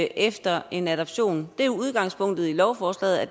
efter en adoption det er udgangspunktet i lovforslaget at